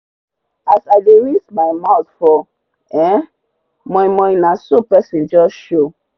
as i dey rinse my mouth for um momo naso person jus show